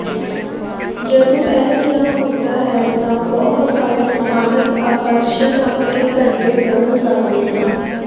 ਜਦੋਂ ਅਜਿਹਾ ਹੁੰਦਾ ਹੈ ਤਾਂ ਬਹੁਤ ਸਾਰੇ ਸਥਾਨਕ ਆਕਰਸ਼ਨ ਆਪਣੇ ਘੰਟੇ ਬਦਲ ਸਕਦੇ ਹਨ